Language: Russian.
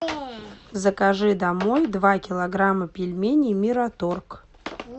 закажи домой два килограмма пельменей мираторг